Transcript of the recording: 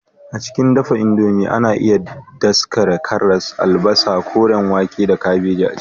A cikin shirya indomie, ana iya daskare karas, albasa, koren wake, da kabeji a ciki.